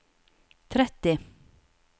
tretti